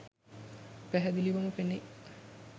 පැහැදිලිවම පෙනේ.